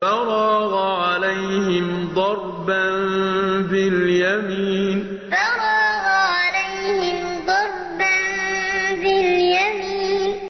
فَرَاغَ عَلَيْهِمْ ضَرْبًا بِالْيَمِينِ فَرَاغَ عَلَيْهِمْ ضَرْبًا بِالْيَمِينِ